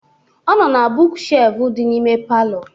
Ọ nọ na buuk shelfụ dị n'ime palọ